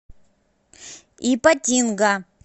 ипатинга